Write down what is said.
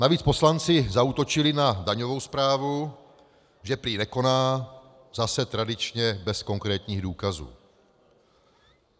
Navíc poslanci zaútočili na daňovou správu, že prý nekoná, zase, tradičně bez konkrétních důkazů.